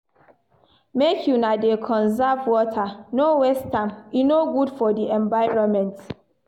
Make una dey conserve water, no waste am, e no good for di environment.